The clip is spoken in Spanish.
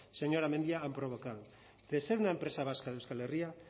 señora mendia han provocado de ser una empresa vasca de euskal herria